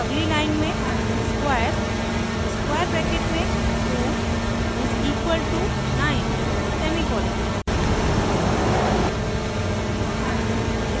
अगली line में squares 2 = 9;